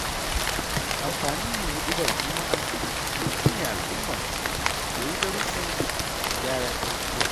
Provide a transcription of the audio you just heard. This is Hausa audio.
Amfanin yin huɗubar juma'a, shi ne al'umma su koyi darussan gyaran tarbiyya.